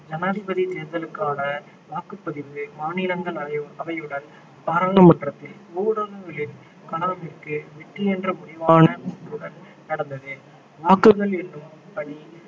ஜனாதிபதி தேர்தலுக்கான வாக்குப்பதிவு மாநிலங்களவை அவையுடன் பாராளுமன்றத்தில் ஊடகங்களின் கலாமிற்கு வெற்றி என்ற முடிவான கூற்றுடன் நடந்தது வாக்குகள் எண்ணும் பணி